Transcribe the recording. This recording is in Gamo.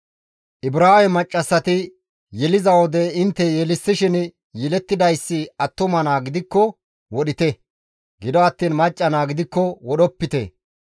«Ibraawe maccassati yeliza wode intte yelissishin yelettidayssi attuma naa gidikko wodhite; gido attiin macca naa gidikko wodhopite»